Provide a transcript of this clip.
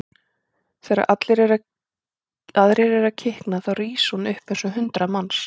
Þegar allir aðrir eru að kikna þá rís hún upp eins og hundrað manns.